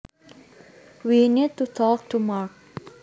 We need to talk to Mark